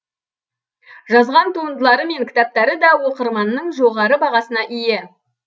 жазған туындылары мен кітаптары да оқырманның жоғары бағасына ие